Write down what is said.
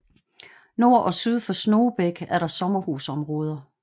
Nord og syd for Snogebæk er der sommerhusområder